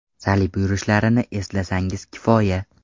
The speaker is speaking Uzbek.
Salib yurishlarini eslasangiz kifoya.